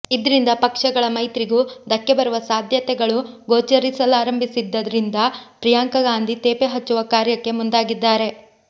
ಇದ್ರಿಂದ ಪಕ್ಷಗಳ ಮೈತ್ರಿಗೂ ಧಕ್ಕೆ ಬರುವ ಸಾಧ್ಯತೆಗಳು ಗೋಚರಿಸಲಾರಂಭಿಸಿದ್ದರಿಂದ ಪ್ರಿಯಾಂಕಾ ಗಾಂಧಿ ತೇಪೆ ಹಚ್ಚುವ ಕಾರ್ಯಕ್ಕೆ ಮುಂದಾಗಿದ್ದಾರೆ